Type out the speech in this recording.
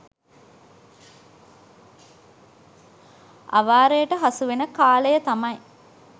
අවාරයට හසු වෙන කාලය තමයි